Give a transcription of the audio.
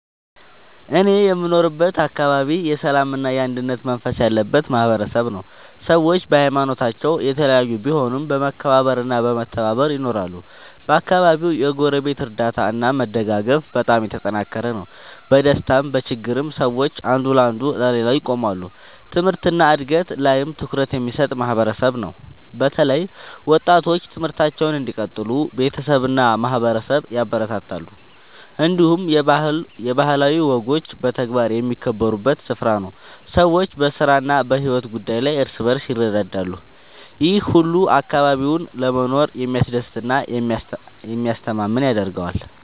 እኔ የምኖርበት አካባቢ የሰላምና የአንድነት መንፈስ ያለበት ማህበረሰብ ነው። ሰዎች በሀይማኖታቸው የተለያዩ ቢሆኑም በመከባበር እና በመተባበር ይኖራሉ። በአካባቢው የጎረቤት እርዳታ እና መደጋገፍ በጣም የተጠናከረ ነው። በደስታም በችግርም ሰዎች አንዱ ለሌላው ይቆማሉ። ትምህርት እና እድገት ላይም ትኩረት የሚሰጥ ማህበረሰብ ነው። በተለይ ወጣቶች ትምህርታቸውን እንዲቀጥሉ ቤተሰብ እና ማህበረሰብ ያበረታታሉ። እንዲሁም የባህላዊ ወጎች በተግባር የሚከበሩበት ስፍራ ነው። ሰዎች በስራ እና በሕይወት ጉዳይ ላይ እርስ በርስ ይረዳዳሉ። ይህ ሁሉ አካባቢውን ለመኖር የሚያስደስት እና የሚያስተማማኝ ያደርገዋል።